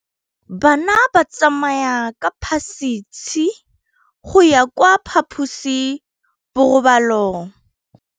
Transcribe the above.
Bana ba tsamaya ka phašitshe go ya kwa phaposiborobalong.